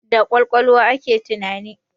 Da kwakwalwa ake tunani